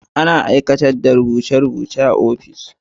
Ana aiwatar da rubuce rubuce a ofishi.